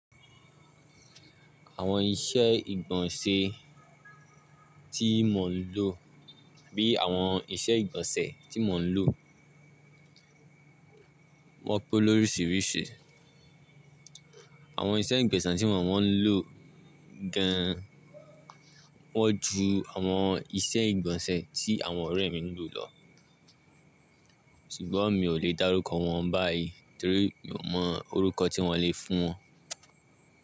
Àwọn ìṣe ìgbọ̀nsẹ̀ tí mò ń lo bí àwọn ìṣe ìgbọ̀nsẹ̀ tí mò ń lo wọ́pọ̀ lóríṣìírṣì. Àwọn ìṣe ìgbọ̀nsẹ̀ tí mò mọ̀ ń lò gan wọ́ ju àwọn ìṣe ìgbọ̀nsẹ̀ tí àwọn ọ̀rẹ́ mi ń lò lọ. Ṣùgbọ́n mi ò lè dárúkọ wọn báyìí torí mi ò mọ orúkọ tí wọ́n lè fún wọn.